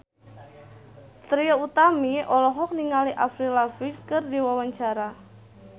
Trie Utami olohok ningali Avril Lavigne keur diwawancara